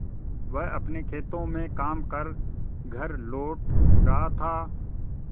वह अपने खेतों में काम कर घर लौट रहा था